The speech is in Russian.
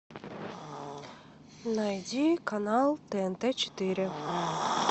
найди канал тнт четыре